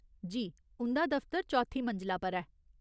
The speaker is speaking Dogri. जी , उं'दा दफ्तर चौथी मंजला पर ऐ।